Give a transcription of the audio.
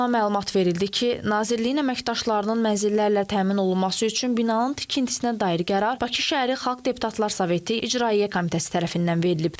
Qurumdan məlumat verildi ki, Nazirliyin əməkdaşlarının mənzillərlə təmin olunması üçün binanın tikintisinə dair qərar Bakı Şəhəri Xalq Deputatlar Soveti İcraiyyə Komitəsi tərəfindən verilib.